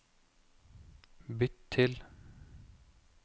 bytt til